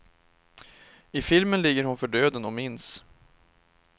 I filmen ligger hon för döden och minns.